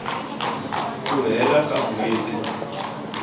ku hela ka n hweti